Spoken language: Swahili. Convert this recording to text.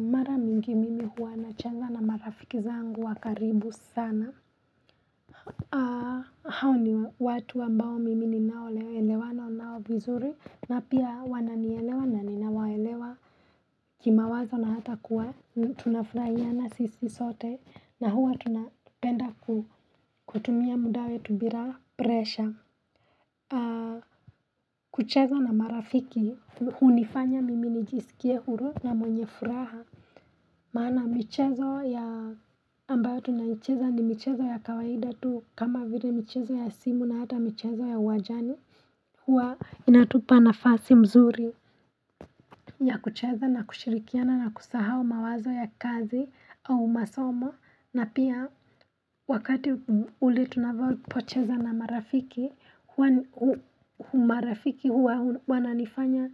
Mara mingi mimi huwa nacheza na marafiki zangu wakaribu sana hao ni watu ambao mimi ninaolewa elewanao vizuri na pia wananielewa na ninawaelewa kimawazo na hata kuwa tunafurahiana sisi sote na huwa tunapenda kutumia muda wetu bila presha kucheza na marafiki hunifanya mimi nijisikie huru na mwenye furaha maana mchezo ya ambayo tunaicheza ni mchezo ya kawaida tu kama vile michezo ya simu na hata michezo ya uwanjni huwa inatupa nafasi mzuri ya kucheza na kushirikiana na kusahau mawazo ya kazi au masomo na pia wakati ule tunavyo pocheza na marafiki Humarafiki huwananifanya